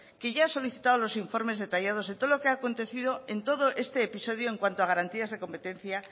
que ya ha solicitado los informes detallados de todo lo que ha acontecido en todo este episodio en cuanto a garantías de competencia